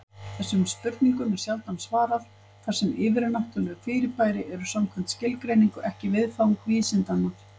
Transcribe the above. Þessum spurningum er sjaldan svarað, þar sem yfirnáttúruleg fyrirbæri eru samkvæmt skilgreiningu ekki viðfang vísindanna.